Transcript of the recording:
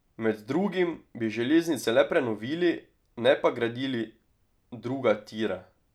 Med drugim bi železnice le prenovili, ne pa gradili druga tira.